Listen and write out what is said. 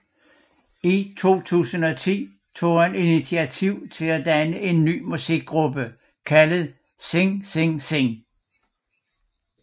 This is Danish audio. I 2010 tog han initiativ til at danne en ny musikgruppe kaldet Sing Sing Sing